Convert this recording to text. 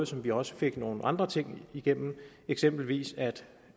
som vi også fik nogle andre ting igennem eksempelvis at